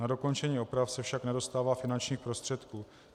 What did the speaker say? Na dokončení oprav se však nedostává finančních prostředků.